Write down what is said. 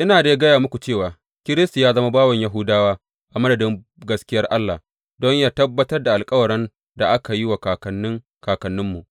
Ina dai gaya muku cewa Kiristi ya zama bawan Yahudawa a madadin gaskiyar Allah, don yă tabbatar da alkawaran da aka yi wa kakannin kakanninmu